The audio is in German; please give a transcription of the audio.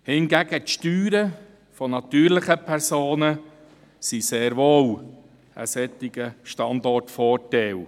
Hingegen sind die Steuern der natürlichen Personen sehr wohl ein solcher Standortvorteil.